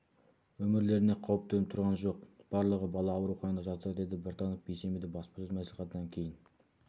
өмірлеріне қауіп төніп тұрған жоқ барлығы бала ауруханада жатыр деді біртанов бейсенбіде баспасөз мәслихатынан кейін